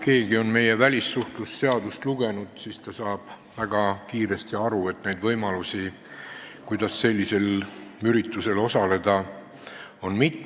Need, kes on meie välissuhtlemisseadust lugenud, saavad väga kiiresti aru, et neid võimalusi, kuidas sellisel üritusel osaleda, on mitu.